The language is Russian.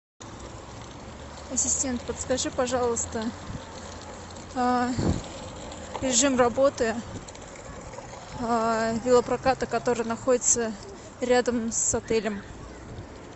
ассистент подскажи пожалуйста режим работы велопроката который находится рядом с отелем